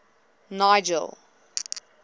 nigel